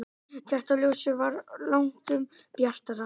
Kertaljósið var langtum bjartara.